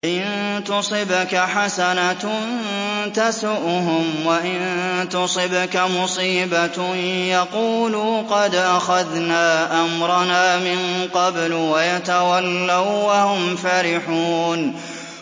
إِن تُصِبْكَ حَسَنَةٌ تَسُؤْهُمْ ۖ وَإِن تُصِبْكَ مُصِيبَةٌ يَقُولُوا قَدْ أَخَذْنَا أَمْرَنَا مِن قَبْلُ وَيَتَوَلَّوا وَّهُمْ فَرِحُونَ